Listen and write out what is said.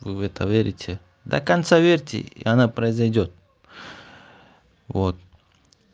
вы в это верить и до конца верьте и она произойдёт вот